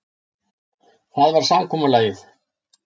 Það var samkomulagið.